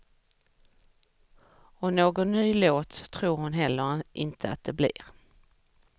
Och någon ny låt tror hon heller inte att det blir.